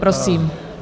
Prosím.